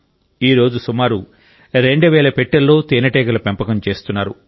ఈరోజు సుమారు రెండు వేల పెట్టెల్లో తేనెటీగల పెంపకం చేస్తున్నారు